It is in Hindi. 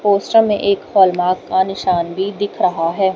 पोस्टर में एक हॉलमार्क का निशान भी दिख रहा है।